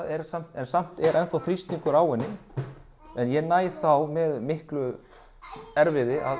en samt er enn þá þrýstingur á henni en ég næ þá með miklu erfiði að